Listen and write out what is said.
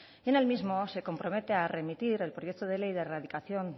en el mismo se compromete a remitir el proyecto de ley de erradicación